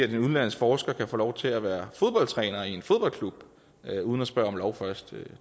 en udenlandsk forsker kan få lov til at være fodboldtræner i en fodboldklub uden at spørge om lov først